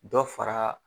Dɔ fara